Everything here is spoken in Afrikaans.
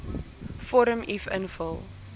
vorm uf invul